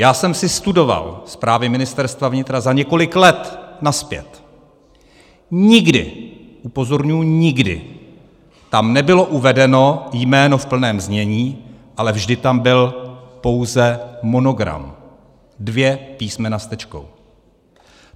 Já jsem si studoval zprávy Ministerstva vnitra za několik let nazpět, nikdy, upozorňuji, nikdy tam nebylo uvedeno jméno v plném znění, ale vždy tam byl pouze monogram, dvě písmena s tečkou.